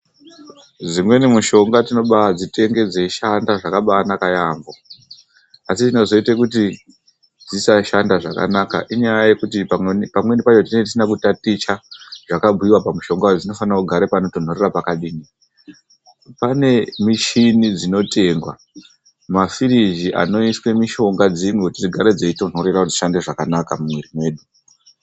Dzimweni mishonga tinobaadzitenge dzeishanda zvakabanaka yaamho, asi chinozoita kuti dzisashanda zvakanaka inyaya yekuti pamweni tenge tisina kutaticha zvakabhuyiwa pamishonga kuti dzinofanirwa kugara panotonhorera pakadini. Pane michini dzinotengwa, mafiriji anoiswa mishonga dzimwe kuti dzigare dzeyitonhorera kuti dziwane kushanda zvakanaka mumuviri medu.